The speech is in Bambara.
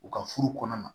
U ka furu kɔnɔna na